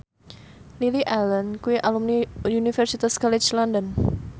Lily Allen kuwi alumni Universitas College London